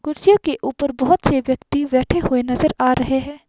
कुर्सियों के ऊपर बहुत से व्यक्ति बैठे हुए नजर आ रहे हैं।